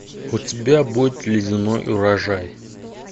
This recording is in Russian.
у тебя будет ледяной урожай